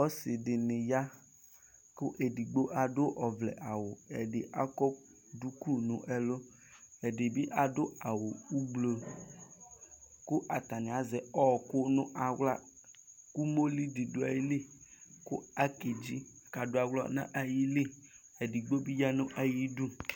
Ɔsidini ya kʋ edigbo adʋ ɔvlɛ'awuɛdi akɔ duku nʋ ɛlʋɛdibi adʋ awu ublokʋ atani azɛ ɔɔkʋ nʋ aɣlaumoli bi dʋ ayiʋ ilikʋ akedzi kʋ adʋ aɣla nʋ ayiliedigbo bi yanʋ ayiʋ idu